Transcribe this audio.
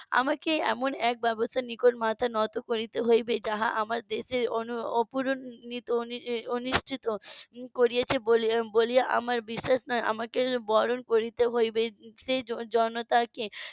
আমাকে এমন এক ব্যবস্থা নিকট মাথা নত করিতে হইবে যাহা আমার দেশের অপূরণিত অনিশ্চিত করেছে বলিয়া আমার বিশ্বাস নয় আমাকে বরণ করতে হইবে সেই জনতাকে